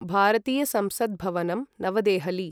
भारतीय संसत् भवनम्, नवदेहलि